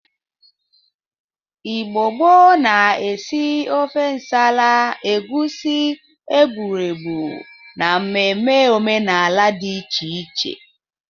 Igbo gboo na-esi ofe nsala, egusi ,egbụregbụ na ememe omenala dị iche iche.